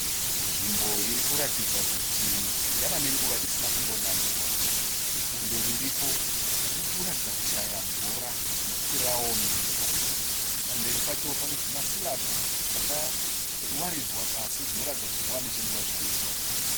Nzvimbo irikuratidza kuti yava nenguva isina kumbonaiwa. Bundo riripo ririkuratidza kushaya mvura nokuti raomerwa. Pamberi pacho pane zvimasilabhu zvakawaridzwa pasi zvinoratidza kuti zvava nenguva zvaiswa.